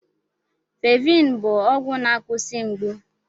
Felviin bụ ọgwụ na-akwụsị mgbu.